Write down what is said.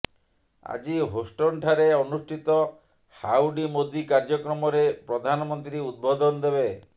ଆଜି ହୋଷ୍ଟନଠାରେ ଅନୁଷ୍ଠିତ ହାଉଡୀ ମୋଦି କାର୍ଯ୍ୟକ୍ରମରେ ପ୍ରଧାନମନ୍ତ୍ରୀ ଉଦବୋଧନ ଦେବେ